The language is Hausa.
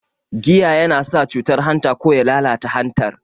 Giya yana sa cutar hanta ko ya lalata hantar